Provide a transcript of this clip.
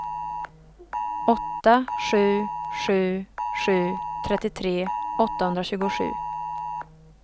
åtta sju sju sju trettiotre åttahundratjugosju